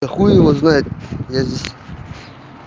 а хуй его знает я здесь